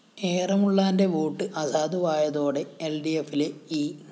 എറമുളളാന്റെ vote അസാധുവായതോടെ എല്‍ഡിഎഫിലെ E